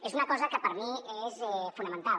és una cosa que per mi és fonamental